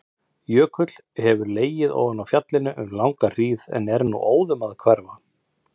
Jökull hefur legið ofan á fjallinu um langa hríð en er nú óðum að hverfa.